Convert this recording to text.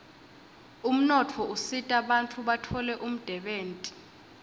umnotfo usita bantfu batfole umdebenti